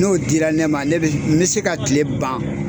N'o dira ne ma ne bɛ n bɛ se ka kile ban